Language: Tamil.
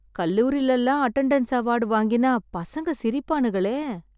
கல்லூரிலலாம் அட்டெண்டன்ஸ் அவார்ட் வாங்கினா பசங்க சிரிப்பானுகளே!